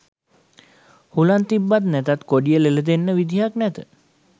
හුලන් තිබ්බත් නැතත් කොඩිය ලෙල දෙන්න විදිහක් නැත